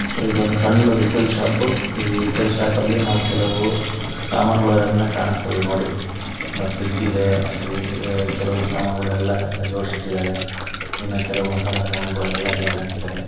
So ಇದೊಂದು ಸಣ್ಣ retail shop ಈ ರಿಟೇಲ್ ಶಾಪ್ ನಲ್ಲಿ ನಾವು ಕೆಲವು ಸಾಮಾನುಗನ್ನು ಕನುಸ್ತದೆ ನೋಡಿ ಎಲ ಫ್ರಿಜ್ ಇದೆ ಅಲಿ ಅ ಕೆಲವು ಸಾಮಾನು ಅಗನ್ನೆಲ್ಲ ಜೋಡಿಸಿ ಇಟ್ಟಿದ್ದಾರೆ ಇನ್ನೂ ಕೆಲವು ಮಸಾಲ ಸಾಮಾನುಗಳನ್ನು ನೇತು ಹಾಕಿದ್ದಾರೆ. .